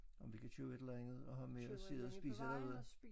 Om vi kan købe et eller andet og have med og sidde og spise dernede